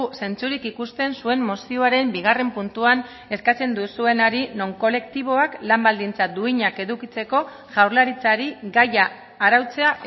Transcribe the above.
zentzurik ikusten zuen mozioaren bigarren puntuan eskatzen duzuenari non kolektiboak lan baldintza duinak edukitzeko jaurlaritzari gaia arautzea